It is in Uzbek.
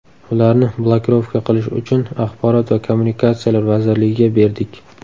Ularni blokirovka qilish uchun axborot va kommunikatsiyalar vazirligiga berdik.